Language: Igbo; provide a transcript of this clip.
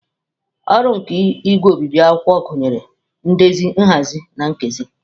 Ọrụ nke igwe obibi akwụkwọ gụnyere ndezi, nhazi na nkesa.